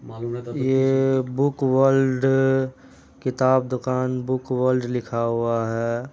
ये book world किताब दुकान बुक वर्ल्ड लिखा हुआ है।